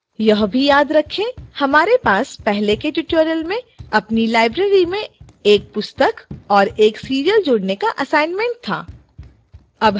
यह भी याद रखें हमारे पास पहले के tutorials में अपनी library में एक पुस्तक और एक serial जोड़ने का assignment था